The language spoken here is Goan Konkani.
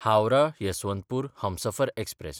हावराह–यसवंतपूर हमसफर एक्सप्रॅस